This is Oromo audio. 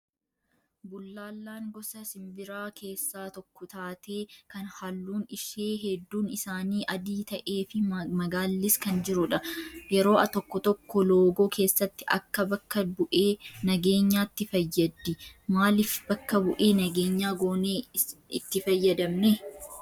Bullaallaan gosa simbiraa keessaa tokko taatee kan halluun ishee hedduun isaanii adii ta'ee fi magaallis kan jirtudha. Yeroo tokko tokko loogoo keessatti Akka bakka bu'ee nageenyaatti fayyaddi. Maaliif bakka bu'ee nageenyaa goonee itti fayyadamne?